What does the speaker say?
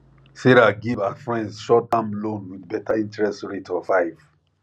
sarah give her friends short term loan with better interest rate of five